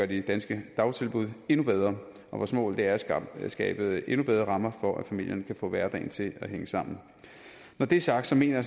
de danske dagtilbud endnu bedre vores mål er at skabe endnu bedre rammer for at familierne kan få hverdagen til at hænge sammen når det er sagt mener